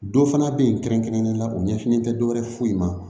Dɔ fana bɛ yen kɛrɛnkɛrɛnnen la u ɲɛsinnen tɛ dɔ wɛrɛ foyi ma